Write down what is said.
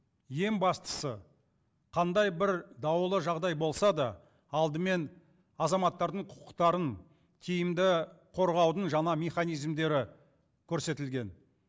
ең бастысы қандай бір даулы жағдай болса да алдымен азаматтардың құқықтарын тиімді қорғаудың жаңа механизмдері көрсетілген